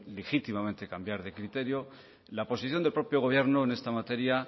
legítimamente cambiar de criterio la posición del propio gobierno en esta materia